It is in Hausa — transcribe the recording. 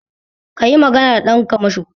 Kayi magana da ɗan kamasho